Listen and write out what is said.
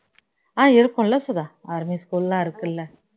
ஆஹ் இருக்கும்ல Sudha army school எல்லாம் இருக்குல்ல